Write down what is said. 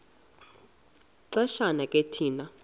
xesha ke thina